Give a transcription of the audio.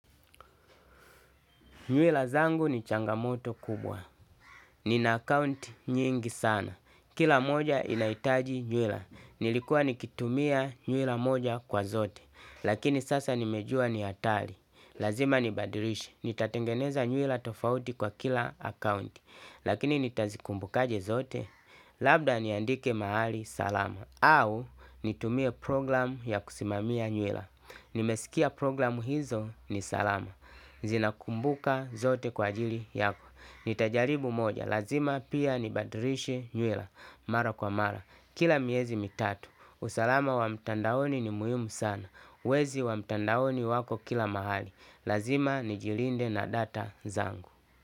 Nywila zangu ni changamoto kubwa. Nina account nyingi sana. Kila moja inaitaji nywila. Nilikuwa nikitumia nywila moja kwa zote. Lakini sasa nimejua ni atali. Lazima nibadilishe. Nitatengeneza nywila tofauti kwa kila account. Lakini nitazikumbukaje zote. Labda niandike mahali salama au nitumie program ya kusimamia nywila. Nimesikia programu hizo ni salama. Zina kumbuka zote kwa ajili yako. Nitajaribu moja, lazima pia ni badirishe nyuela. Mara kwa mara, kila miezi mitatu usalama wa mtandaoni ni muiumu sana. Wezi wa mtandaoni wako kila mahali. Lazima nijilinde na data zangu.